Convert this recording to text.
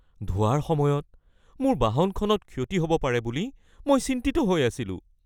ধোৱাৰ সময়ত মোৰ বাহনখনত ক্ষতি হ'ব পাৰে বুলি মই চিন্তিত হৈ আছিলোঁ।